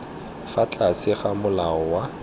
fa tlase ga molao wa